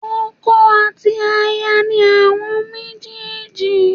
Ọkọ àti aya ni àwọn méjèjì